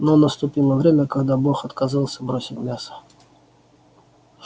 но наступило время когда бог отказался бросить мясо